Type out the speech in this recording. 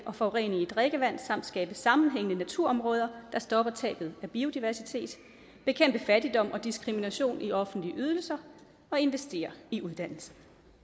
og forurening i drikkevand samt skabe sammenhængende naturområder der stopper tabet af biodiversitet bekæmpe fattigdom og diskrimination i offentlige ydelser og investere i uddannelse